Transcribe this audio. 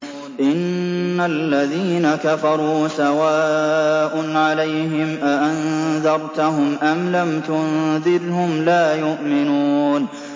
إِنَّ الَّذِينَ كَفَرُوا سَوَاءٌ عَلَيْهِمْ أَأَنذَرْتَهُمْ أَمْ لَمْ تُنذِرْهُمْ لَا يُؤْمِنُونَ